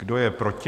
Kdo je proti?